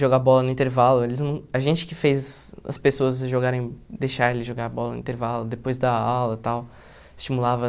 Jogar bola no intervalo, eles não a gente que fez as pessoas jogarem, deixar ele jogar bola no intervalo depois da aula e tal, estimulava.